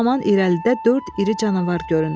Bu zaman irəlidə dörd iri canavar göründü.